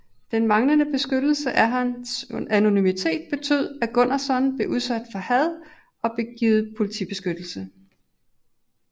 Den manglende beskyttelse af hans anonymitet betød at Gunnarsson blev udsat for had og blev givet politibeskyttelse